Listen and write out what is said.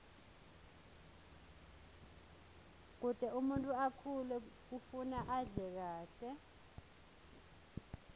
kute umuntfu akhule kufuna adle kahle